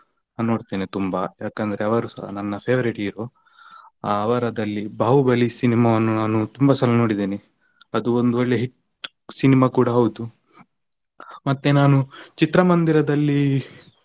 ನೋಡ್ತೇನೆ ತುಂಬಾ ಯಾಕಂದ್ರೆ ಅವರುಸ ನನ್ನ favorite hero . ಅವರದಲ್ಲಿ Bahubali cinema ವನ್ನು ನಾನು ತುಂಬಾ ಸಲ ನೋಡಿದ್ದೇನೆ , ಅದು ಒಂದು ಒಳ್ಳೆ hit cinema ಕೂಡ ಹೌದು. ಮತ್ತೆ ನಾನು ಚಿತ್ರಮಂದಿರದಲ್ಲಿ.